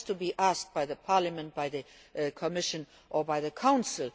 It has to be asked by the Parliament, by the Commission or by the